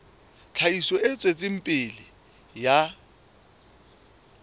tlhahiso e tswetseng pele ya